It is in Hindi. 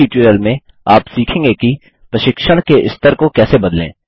इस ट्यूटोरियल में आप सीखेंगे कि प्रशिक्षण के स्तर को कैसे बदलें